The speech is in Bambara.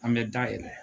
An bɛ da yɛlɛ